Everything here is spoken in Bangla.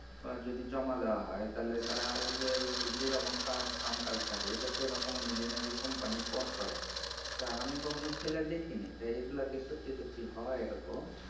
যদি জমা দেওয়া হয় তাহলে তারা ওদের যেরকম কাম কাজ থাকে তা সেরকম অনুযায়ী নাকি কোম্পানি ফোন করে তা আমি কখনো ফেলে দেখিনি এগুলা কি সত্যি সত্যি হয় এরকম? "